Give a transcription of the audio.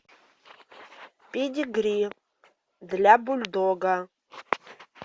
педигри для бульдога